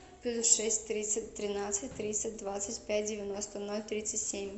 плюс шесть тридцать тринадцать тридцать двадцать пять девяносто ноль тридцать семь